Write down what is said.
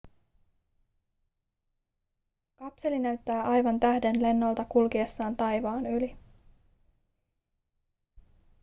kapseli näyttää aivan tähdenlennolta kulkiessaan taivaan yli